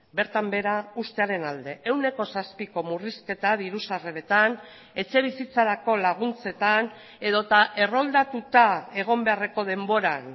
bertan behera uztearen alde ehuneko zazpiko murrizketa diru sarreretan etxe bizitzarako laguntzetan edota erroldatuta egon beharreko denboran